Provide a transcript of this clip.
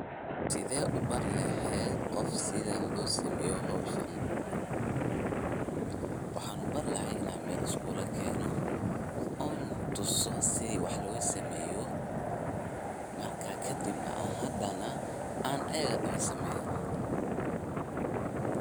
Sethee u bare laheet Qoof sethan lo sameeyoh hooshan, waxan ubari lahay inay meel iskula keenoh on tuusoh sethi wax loo sameeyoh markas kadib nah AA eyago daho sameeh.